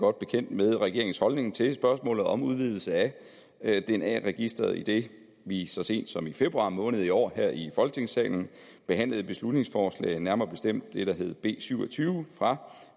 godt bekendt med regeringens holdning til spørgsmålet om udvidelse af dna registeret idet vi så sent som i februar måned i år her i folketingssalen behandlede et beslutningsforslag nærmere bestemt det der hedder b syv og tyve fra